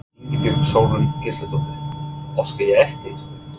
Ingibjörg Sólrún Gísladóttir: Óska ég eftir?